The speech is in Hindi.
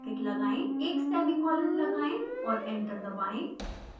एक सेमीकोलन लगाएं और एंटर दबाएं